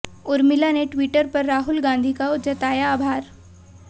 उर्मिला ने ट्विटर पर राहुल गांधी का जताया आभार